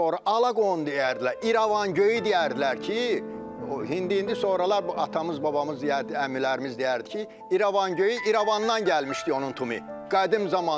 Sonra alaqon deyərdilər, İrəvan göyü deyərdilər ki, indi sonralar bu atamız, babamız deyərdi, əmilərimiz deyərdi ki, İrəvan göyü İrəvandan gəlmişdi onun tumu qədim zamandan.